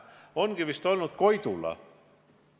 On vist olnud Koidula.